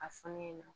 A fɔlen don